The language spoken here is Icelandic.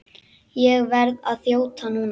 Ég verð að þjóta núna.